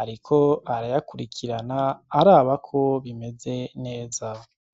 ariko arayakurikirana arabako bimeze neza.